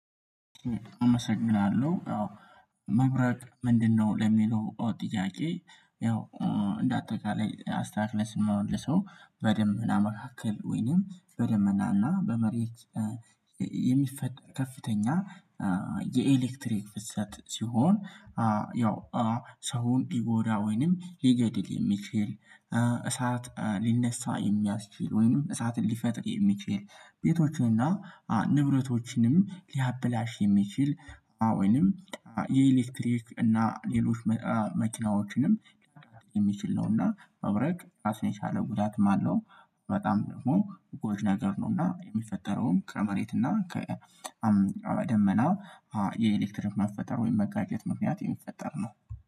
አመሰግናለሁ ያው መብረቅ ምንድነው ለሚለው ጥያቄ? ያው እንደአጠቃላይ አስተካክለን ስንመልሰው በደመና መካከል ወይንም በደመናና በመሬት የሚፈጠር ከፍተኛ የኤሌክትሪክ ፍሰት ሲሆን። ያው ሰውን ይጎዳ ወይንም ሊገድል የሚችል እሳት ሊነሳ የሚያስችል ወይንም እሳትን ሊፈጥር የሚችል ቤቶችንና ንብረቶችንም ሊያበላሽ የሚችል አዎንም የኤሌክትሪክ እና ሌሎች መኪናዎችንም የሚችል ነውና መብረቅ ራሱን የቻለ ጉዳትም አለው። በጣም ደግሞ ጎጅ ነገር ነውና የሚፈጠረውን ከመሬት እና ከ ደመና የኤሌክትሪክ መፈጠር ወይም መጋጨት ምክንያት የሚፈጠር ነው